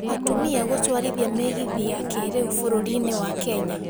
Atumia gũtwarithia mĩgithi ya kĩrĩu bũrũrinĩ wa Kenya.